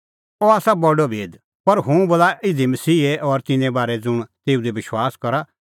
अह आसा बडअ भेद पर हुंह बोला इधी मसीहे और तिन्नें बारै ज़ुंण तेऊ दी विश्वास करा